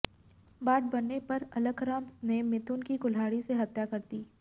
बात बढ़ने पर अलखराम ने मिथुन की कुल्हाड़ी से हत्या कर दी